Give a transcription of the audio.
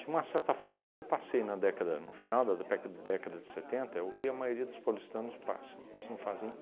uma certa forma, o que eu passei na década no final da péca década de setenta é o que a maioria dos paulistanos passa. Isso não fazem